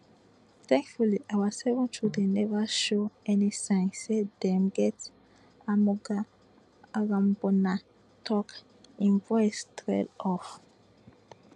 thankfully our seven children neva show any signs say dem get amoga irambona tok im voice trail off